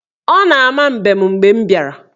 Ọ na-ama mbem mgbe m bịara.